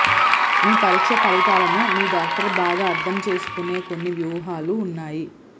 మీ పరీక్ష ఫలితాలను మీ డాక్టర్ బాగా అర్థం చేసుకునే కొన్ని వ్యూహాలు ఉన్నాయి